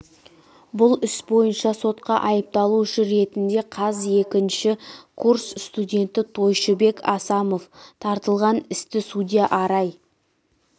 бұл іс бойынша сотқа айыпталушы ретінде қаз екінші курс студенті тойшыбек асамов тартылған істі судья арай